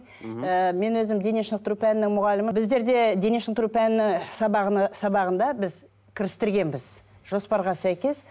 ы мен өзім дене шынықтыру пәнінің мұғалімі біздерде дене шынықтыру пәні сабағында біз кірістіргенбіз жоспарға сәйкес